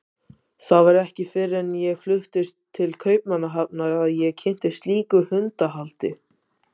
Það var ekki fyrr en ég fluttist til Kaupmannahafnar að ég kynntist slíku hundahaldi.